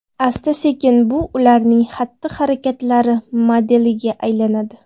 Asta-sekin bu ularning xatti-harakatlari modeliga aylanadi.